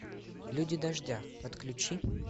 люди дождя подключи